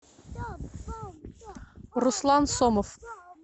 руслан сомов